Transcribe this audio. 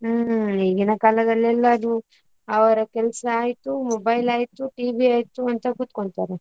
ಹ್ಮ್ ಈಗಿನ ಕಾಲದಲ್ಲಿ ಎಲ್ಲಾರು ಅವರ ಕೆಲ್ಸ ಆಯ್ತು, mobile ಆಯ್ತು, TV ಆಯ್ತು, ಅಂತ ಕೂತ್ಕೊಳ್ತಾರೆ.